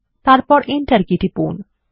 তারপর enter key টিপুন